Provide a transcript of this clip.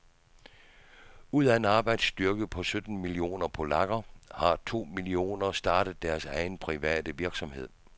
Ud af en arbejdsstyrke på sytten millioner polakker har to millioner startet deres egen private virksomhed.